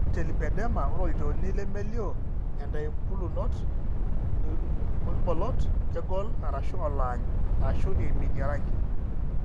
Ore telipedema, ore olchoni nemelioo eetaimbulunot ooirbolot, kegol (oloany), ashu eiminie orangi.